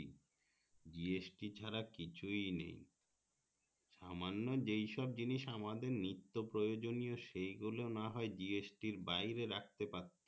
GST ছাড়া কিছুই নেই সামান্য যেই সব জিনিস আমাদের নিত্য প্রয়োজনীয় সেগুলো না হয় GST আর বাইরে রাখতে পারতো